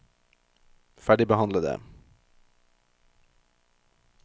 ferdigbehandlede